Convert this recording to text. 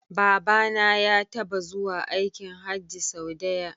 Babana ya taba zuwa aikin Hajji sau daya